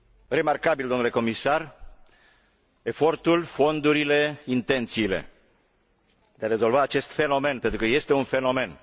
Remarcabile, domnule comisar, efortul, fondurile, intențiile de a rezolva acest fenomen, pentru că este un fenomen.